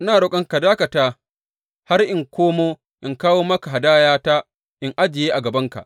Ina roƙonka ka dakata har in komo in kawo maka hadayata in ajiye a gabanka.